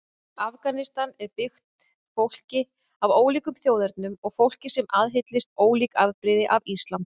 Afganistan er byggt fólki af ólíkum þjóðernum og fólki sem aðhyllist ólík afbrigði af islam.